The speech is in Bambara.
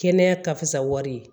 Kɛnɛya ka fisa wari ye